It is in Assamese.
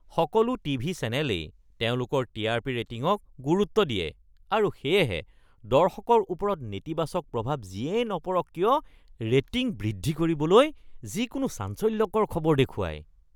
সকলো টিভি চেনেলেই তেওঁলোকৰ টি.আৰ.পি. ৰেটিঙক গুৰুত্ব দিয়ে আৰু সেয়েহে দৰ্শকৰ ওপৰত নেতিবাচক প্ৰভাৱ যিয়েই নপৰক কিয় ৰেটিং বৃদ্ধি কৰিবলৈ যিকোনো চাঞ্চল্যকৰ খবৰ দেখুৱায়। (ব্যক্তি ১)